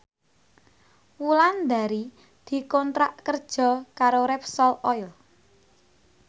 Wulandari dikontrak kerja karo Repsol Oil